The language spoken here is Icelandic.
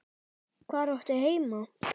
Hvar áttu heima?